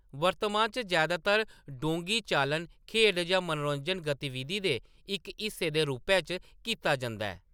वर्तमान च जैदातर डोंगी चालन, खेढ जां मनोरंजक गतिविधि दे इक हिस्से दे रूपै च कीता जंदा ऐ।